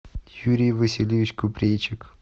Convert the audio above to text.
юрий васильевич купрейчик